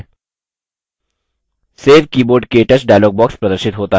save keyboard – ktouch dialog box प्रदर्शित होता है